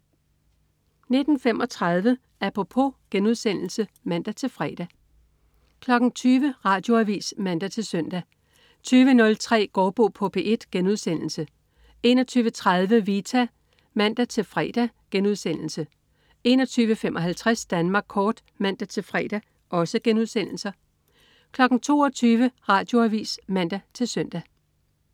19.35 Apropos* (man-fre) 20.00 Radioavis (man-søn) 20.03 Gaardbo på P1* 21.30 Vita* (man-fre) 21.55 Danmark kort* (man-fre) 22.00 Radioavis (man-søn)